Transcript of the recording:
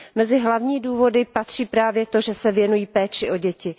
Mezi hlavní důvody patří právě to, že se věnují péči o děti.